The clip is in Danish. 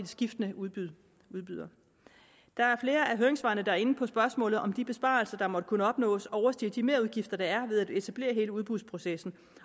skiftende udbydere udbydere der er flere af høringssvarene der er inde på spørgsmålet om hvorvidt de besparelser der måtte kunne opnås overstiger de merudgifter der er ved at etablere hele udbudsprocessen